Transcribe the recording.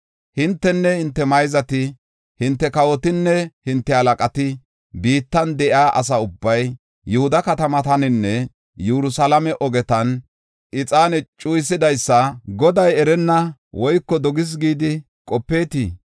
“Hintenne hinte mayzati, hinte kawotinne hinte halaqati, biittan de7iya asa ubbay, Yihuda katamataninne Yerusalaame ogetan ixaane cuyisidaysa Goday erenna woyko dogis gidi qopeetii?